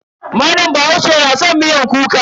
Malam bahaushe na san miyar kuka.